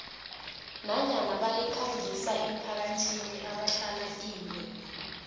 nanyana bayikhangisa emphakathini ebahlala kiyo